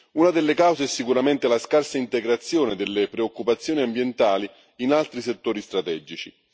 Una delle cause è sicuramente la scarsa integrazione delle preoccupazioni ambientali in altri settori strategici.